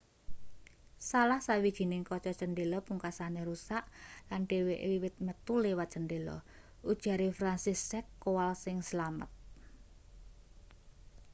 salah sawijining kaca cendhela pungkasane rusak lan dheweke wiwit metu liwat cendhela ujare franciszek kowal sing slamet